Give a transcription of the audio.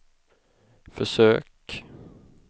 försök